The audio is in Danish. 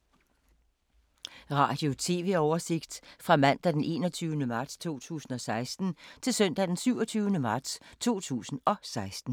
Radio/TV oversigt fra mandag d. 21. marts 2016 til søndag d. 27. marts 2016